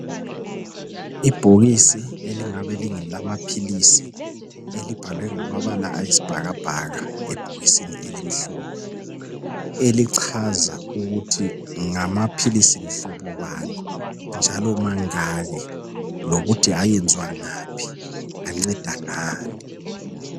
Ibhokisi elingabe lingelamaphilisi , elibhalwe ngamabala ayisibhakabhaka ebhokisini elimhlophe, elichaza ukuthi ngamaphilisi mhlobo bani njalo mangaki, lokuthi ayenzwa ngaphi, anceda ngani.